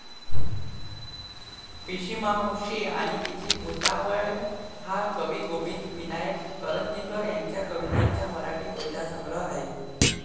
पिशीमावशी आणि तिची भुतावळ हा कवी गोविंद विनायक करंदीकर यांच्या कवितांचा मराठी कवितासंग्रह आहे.